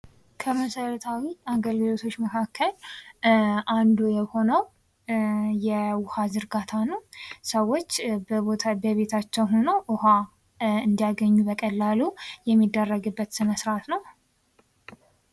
ከመሰረታዊ አገልግሎቶች መካከል አንዱ የሆነው የውሃ ዝርጋታ ነው። ሰዎች ቤታቸው ሆነው ውሃ እንዲያገኙ በቀላሉ የሚደረግበት ስርአት ነው።